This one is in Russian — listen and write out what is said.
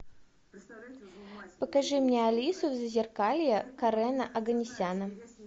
покажи мне алиса в зазеркалье карена оганесяна